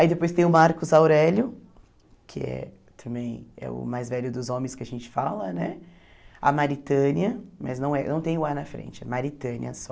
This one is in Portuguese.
Aí depois tem o Marcos Aurélio, que é também, é o mais velho dos homens que a gente fala, né, a Maritânia, mas não é não tem o á na frente, é Maritânia só.